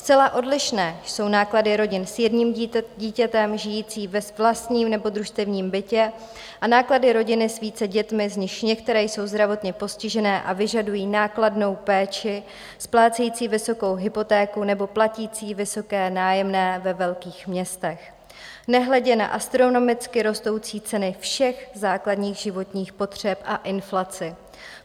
Zcela odlišné jsou náklady rodin s jedním dítětem žijící ve vlastním nebo družstevním bytě a náklady rodin s více dětmi, z nichž některé jsou zdravotně postižené a vyžadují nákladnou péči, splácející vysokou hypotéku nebo platící vysoké nájemné ve velkých městech, nehledě na astronomicky rostoucí ceny všech základních životních potřeb a inflaci.